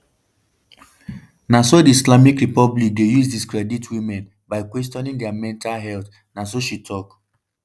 na so di islamic republic dey use discredit women by questioning dia mental health” na so she tok.